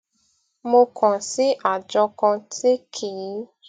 mo kàn sí àjọ kan tí kì í